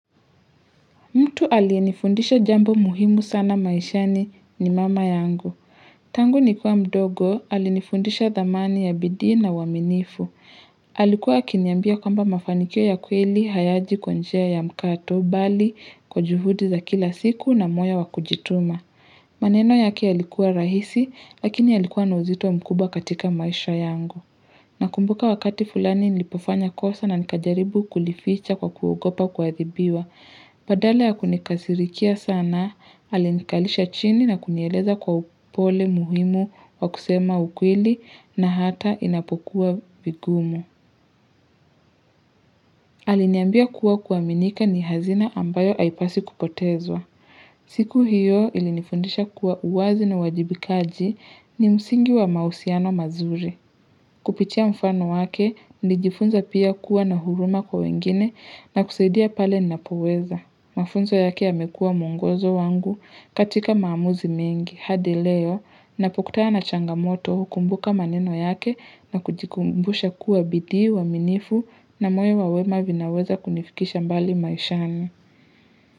Mtu aliyenifundisha jambo muhimu sana maishani ni mama yangu. Tangu nikiwa mdogo, alinifundisha dhamani ya bidhii na uaminifu. Alikuwa kiniambia kwamba mafanikio ya kweli, hayaji kwa njia ya mkato, bali, kwa juhudi za kila siku na moyo wakujituma. Maneno yake yalikuwa rahisi, lakini yalikuwa na uzito mkuba katika maisha yangu. Nakumbuka wakati fulani nilipofanya kosa na nikajaribu kulificha kwa kugopa kuathibiwa. Badala ya kunikasirikia sana, aliniikalisha chini na kunieleza kwa upole muhimu wa kusema ukweli na hata inapokuwa vigumu. Aliniambia kuwa kuaminika ni hazina ambayo haipaswi kupotezwa. Siku hiyo ilinifundisha kuwa uwazi na uwajibikaji ni msingi wa mahusiano mazuri. Kupitia mfano wake, nijifunza pia kuwa na huruma kwa wengine na kusaidia pale ninapoweza. Mafunzo yake yamekua mwongozo wangu katika maamuzi mengi hadi leo. Ninapokutana na changamoto hukumbuka maneno yake na kujikumbusha kuwa bidhii uaminifu na moyo wawema vinaweza kunifikisha mbali maishani.